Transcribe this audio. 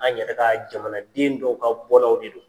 An yɛrɛ ka jamanaden dɔw ka bɔnaw de don.